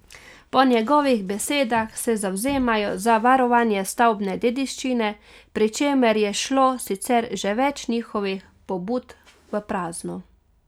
Po njegovih besedah se zavzemajo za varovanje stavbne dediščine, pri čemer je šlo sicer že več njihovih pobud v prazno.